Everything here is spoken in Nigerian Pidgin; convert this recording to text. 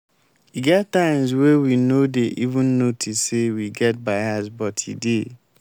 e get times wey we no dey even notice say we get bias but e dey.